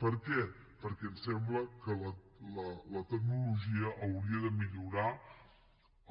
per què perquè ens sembla que la tecnologia hauria de millorar